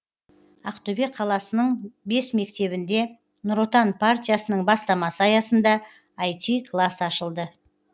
ақтөбе қаласының бес мектебінде нұр отан партиясының бастамасы аясында іт класс ашылды